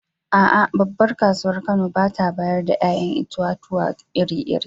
A’a, babbar kasuwar Kano ba ta bayar da ‘ya’yan itatuwa iri-iri.